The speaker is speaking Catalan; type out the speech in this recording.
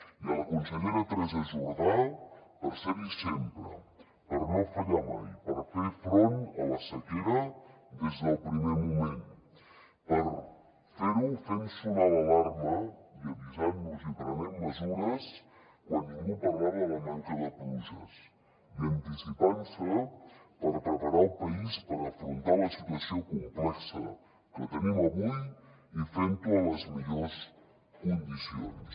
i a la consellera teresa jordà per ser hi sempre per no fallar mai per fer front a la sequera des del primer moment per fer ho fent sonar l’alarma i avisant nos i prenent mesures quan ningú parlava de la manca de pluges i anticipant se per preparar el país per afrontar la situació complexa que tenim avui i fent ho en les millors condicions